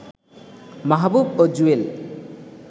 মাহবুব ও জুয়েল